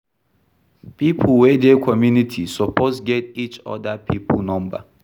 Pipo wey dey community suppose get each oda pipo number